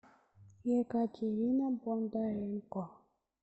екатерина бондаренко